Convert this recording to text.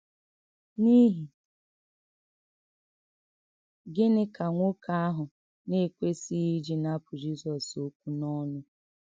N’ìhì gịnị kà nwókè àhụ̀ nà-èkwèsìghị íjì nàpụ̀ Jizọs òkwú n’ọnụ́?